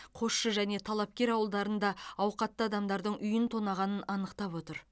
қосшы және талапкер ауылдарында ауқатты адамдардың үйін тонағанын анықтап отыр